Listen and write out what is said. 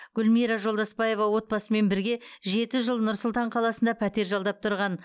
гүлмира жолдаспаева отбасымен бірге жеті жыл нұр сұлтан қаласында пәтер жалдап тұрған